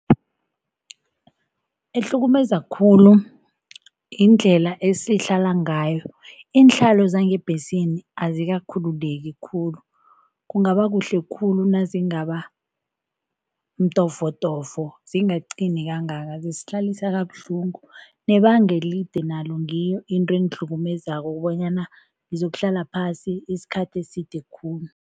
Ehlukumeza khulu yindlela esihlala ngayo. Iinhlalo zangebhesini azikakhululeki khulu, kungaba kuhle khulu nazingaba mtofotofo, zingaqini kangaka zisihlalisa kabuhlungu, nbebanga elide nalo ngiyo into engihlukumezako banyana ngizokuhlala phasi isikhathi eside khulu.